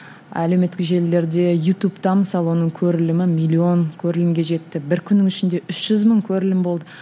әлеуметтік желілерде ютубта мысалы оның көрілімі миллион көрілімге жетті бір күннің ішінде үш жүз мың көрілім болды